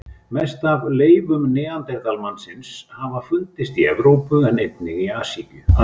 Mest af leifum neanderdalsmannsins hafa fundist í Evrópu en einnig í Asíu.